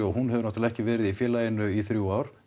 hún hefur náttúrulega ekki verið í félaginu í þrjú ár